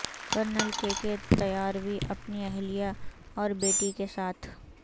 colonel K K Tiwari اپنی اہلیہ اور بیٹی کے ساتھ